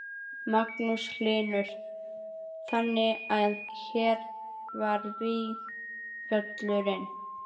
Magnús Hlynur: Þannig að hér var vígvöllurinn?